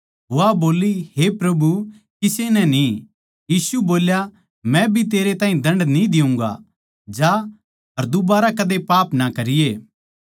वा बोल्ली हे प्रभु किसे नै न्ही यीशु बोल्या मै भी तेरे ताहीं दण्ड न्ही देऊँगा जा अर दुबारा कदे पाप ना करिए